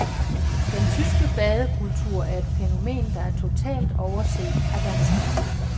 Den tyske badekultur er et fænomen, der er totalt overset af danskerne.